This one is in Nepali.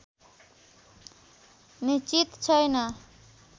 निश्चित छैन